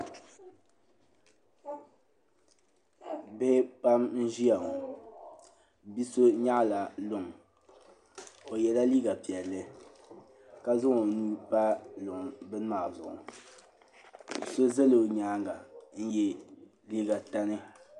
Bihi pam n ʒiya ŋo bia so nyaɣala luŋ o yɛla liiga piɛlli ka zaŋ o nuu pa luŋ bini maa zuɣu so ʒɛla o nyaanga n yɛ liiga tani